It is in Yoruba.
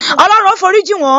Olorun ó forí jin won